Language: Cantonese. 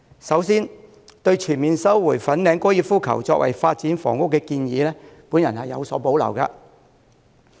首先，對全面收回粉嶺高爾夫球場用地作為發展房屋的建議，我有所保留。